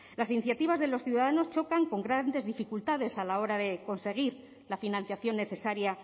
las iniciativas de los ciudadanos chocan con grandes dificultades a la hora de conseguir la financiación necesaria